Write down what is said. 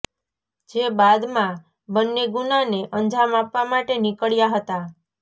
જે બાદમાં બંને ગુનાને અંજામ આપવા માટે નીકળ્યા હતા